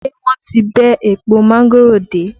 Ṣé wọ́n ti bẹ́ èpo mángòrò dé?